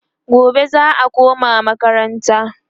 gobe za'a koma makaranta